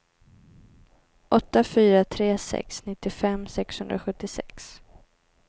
åtta fyra tre sex nittiofem sexhundrasjuttiosex